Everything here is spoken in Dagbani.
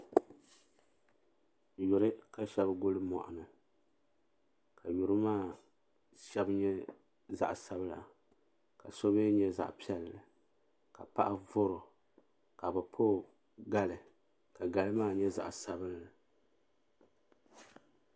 Yuri ka Sheba guli moɣuni ka yuri maa Sheba nyɛ zaɣa sabla ka so mee nyɛ zaɣa piɛlli ka paɣa vori o ka bɛ pa o gali ka gali maa nyɛ zaɣa sabinli.